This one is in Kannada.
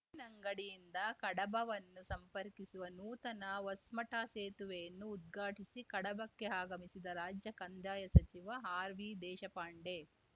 ಉಪ್ಪಿನಂಗಡಿಯಿಂದ ಕಡಬವನ್ನು ಸಂಪರ್ಕಿಸುವ ನೂತನ ಹೊಸ್ಮಠ ಸೇತುವೆಯನ್ನು ಉದ್ಘಾಟಿಸಿ ಕಡಬಕ್ಕೆ ಆಗಮಿಸಿದ ರಾಜ್ಯ ಕಂದಾಯ ಸಚಿವ ಆರ್ವಿದೇಶಪಾಂಡೆ